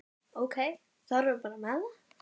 Ok, þá erum við bara með það?